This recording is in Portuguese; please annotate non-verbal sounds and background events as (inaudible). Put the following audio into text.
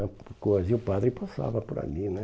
(unintelligible) E o padre passava por ali né.